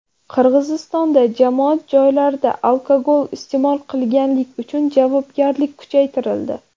Qirg‘izistonda jamoat joylarida alkogol iste’mol qilganlik uchun javobgarlik kuchaytirildi.